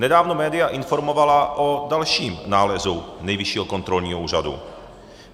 Nedávno média informovala o dalším nálezu Nejvyššího kontrolního úřadu.